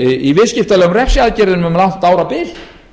í viðskiptalegum refsiaðgerðum um langt árabil